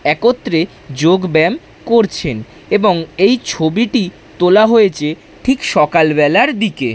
একত্রে যোগ ব্যায়াম করছেন এবং এই ছবিটি তোলা হয়েছে ঠিক সকালবেলার দিকে।